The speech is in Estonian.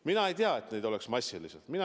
Mina ei tea, et neid oleks massiliselt.